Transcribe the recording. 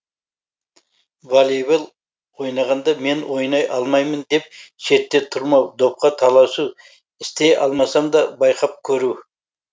волейбол ойнағанда мен ойнай алмаймын деп шетте тұрмау допқа таласу істей алмасам да байқап көру